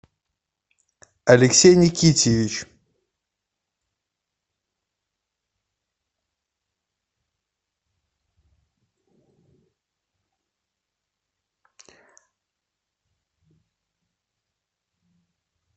алексей никитьевич